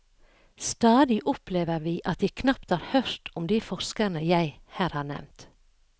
Stadig opplever vi at de knapt har hørt om de forskerne jeg her har nevnt.